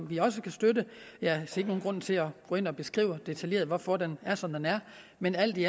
vi også støtte jeg ser ingen grund til at gå ind og beskrive detaljeret hvorfor den er som den er men alt i